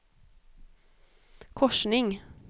korsning